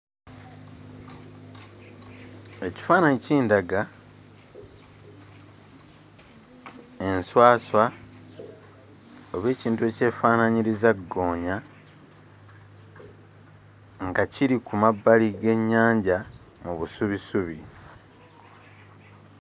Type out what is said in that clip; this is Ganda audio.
Ekifaananyi kindaga enwaswa, oba ekintu ekyefaananyiriza ggoonya, nga kiri ku mabbali g'ennyanja mu busubisubi.